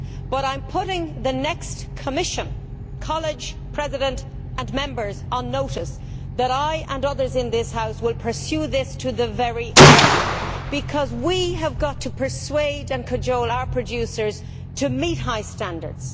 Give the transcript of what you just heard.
However, I am putting the next College of Commissioners both President and members on notice that I and others in this House will pursue this to the very end, because we have got to persuade and cajole our producers to meet high standards.